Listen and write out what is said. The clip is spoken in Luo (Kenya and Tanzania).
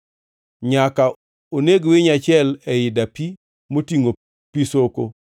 Nyaka oneg winyo achiel ei dapi motingʼo pi soko,